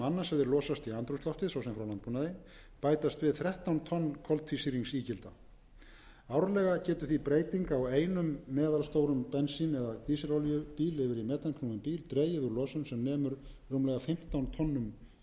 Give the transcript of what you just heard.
annars hefði losast í andrúmsloftið svo sem frá landbúnaði bætast við þrettán tonn koltvísýringsígilda árlega getur því breyting á einum meðalstórum bensín eða dísilolíubíl yfir í metanknúinn bíl dregið úr losun sem nemur rúmlega fimmtán tonnum co